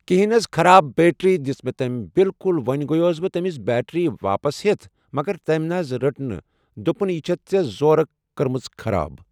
کہِنۍ نہ حظ خراب بیٹری دِژ مےٚ تٔمۍ بالکُل وۄنۍ گیاوُس بہٕ تٔمِس بیٹری واپس ہٮ۪تھ مگر تٔمۍ نہ حظ رٔٹ دوٚپُن یہِ چھیٚتھ ژےٚ زورٕ کٔرمٕژ خراب